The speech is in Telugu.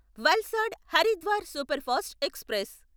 Valsad Haridwar superfast express